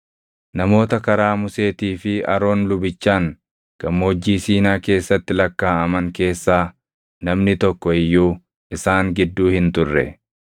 Namoota karaa Museetii fi Aroon lubichaan Gammoojjii Siinaa keessatti lakkaaʼaman keessaa namni tokko iyyuu isaan gidduu hin turre.